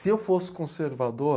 Se eu fosse conservador...